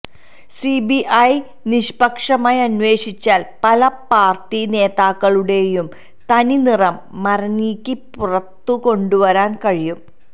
CBI നിക്ഷ്പക്ഷമായി അന്വേഷിച്ചാൽ പല പാർട്ടി നേതാക്കളുടെയും തനിനിറം മറനീക്കി പുറത്തു കൊണ്ടുവരാൻ കഴിയും